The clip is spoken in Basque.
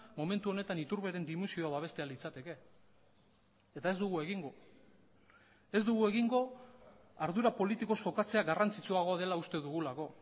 momentu honetan iturberen dimisioa babestea litzateke eta ez dugu egingo ez dugu egingo ardura politikoz jokatzea garrantzitsuagoa dela uste dugulako